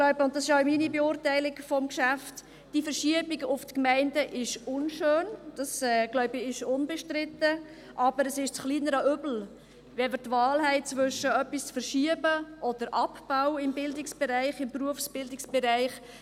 Die Verschiebung zu den Gemeinden ist unschön, das ist unbestritten, aber sie ist das kleinere Übel, wenn wir die Wahl haben zwischen einer Verschiebung und dem Abbau im Berufsbildungsbereich.